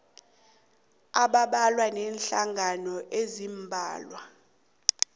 abambalwa neenhlangano eziimbalwa